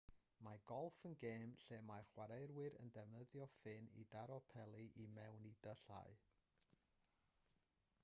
mae golff yn gêm lle mae chwaraewyr yn defnyddio ffyn i daro peli i mewn i dyllau